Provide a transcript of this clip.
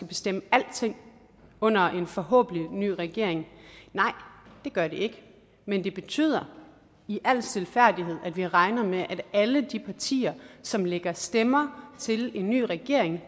bestemme alting under en forhåbentlig ny regering nej det gør det ikke men det betyder i al stilfærdighed at vi regner med at alle de partier som lægger stemmer til en ny regering